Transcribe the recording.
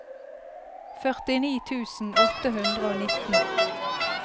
førtini tusen åtte hundre og nitten